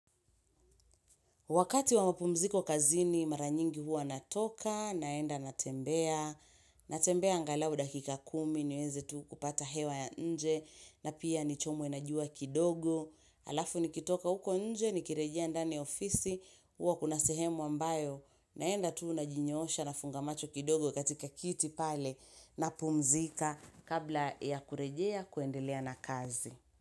Wakati wa mapumziko kazini mara nyingi huwa natoka, naenda natembea, natembea angalau dakika kumi, niweze tu kupata hewa ya inje, na pia nichomwe na jua kidogo, alafu nikitoka huko inje, nikirejea ndani ya ofisi, huwa kuna sehemu ambayo, naenda tu najinyoosha nafunga macho kidogo katika kiti pale napumzika kabla ya kurejea kuendelea na kazi.